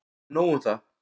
En nóg un það.